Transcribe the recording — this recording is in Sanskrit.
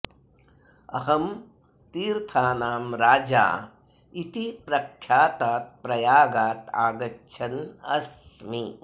अहं तीर्थानां राजा इति प्रख्यातात् प्रयागात् आगच्छन् अस्मि